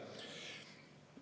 Ja-jah.